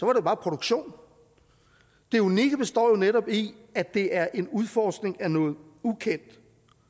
det bare produktion det unikke består jo netop i at det er en udforskning af noget ukendt